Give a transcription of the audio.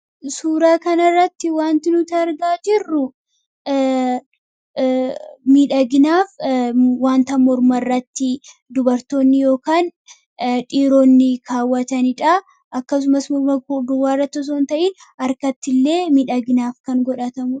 suuraa kana irratti wanti nutiargaa jirru midhaginaaf wantan morma irratti dubartoonni yookaan dhiiroonni kaawwataniidha akkasumas morma duwwaarratsoon ta'in arkatti illee midhagnaaf kan godhatamu